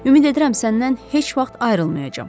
Ümid edirəm səndən heç vaxt ayrılmayacam.